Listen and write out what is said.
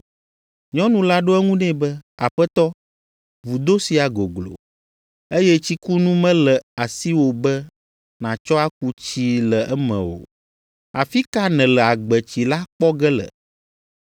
Nyɔnu la ɖo eŋu nɛ be, “Aƒetɔ, vudo sia goglo, eye tsikunu mele asiwò be nàtsɔ aku tsii le eme o. Afi ka nèle agbetsi la kpɔ ge le?